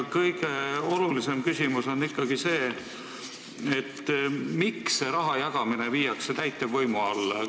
Kõige olulisem küsimus on ikkagi see, miks see raha jagamine viiakse täitevvõimu alla.